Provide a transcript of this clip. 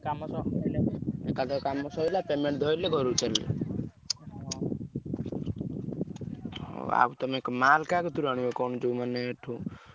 ଏକାଥେରେ କାମ ସଇଲା payment ଧଇଲେ ଘରକୁ ଚାଲିଲେ। ହଉ ଆଉ ତମେ ମାଲ୍ କାହା କତିରୁ ଆଣିବ କଣ ଯଉ ମାନେ ଏଠୁ?